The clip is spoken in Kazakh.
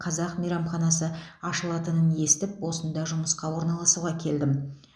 қазақ мейрамханасы ашылатынын естіп осында жұмысқа орналасуға келдім